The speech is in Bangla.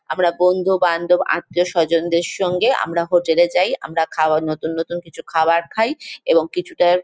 আমরা বন্ধু-বান্ধব আত্মীয়-স্বজনদের সঙ্গে আমরা হোটেল -এ যাই আমরা খাবার নতুন নতুন কিছু খাবার খাই এবং কিছুটার --